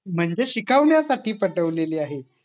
म्हणजे शिकवण्या साठी पेटवलेली आहे